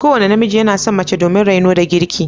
Kowane namiji yana son mace domin raino da girki.